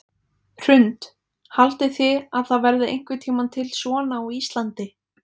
Hrund: Haldið þið að það verði einhvern tímann til svona á Íslandi?